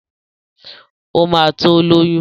Ó ma tó lóyún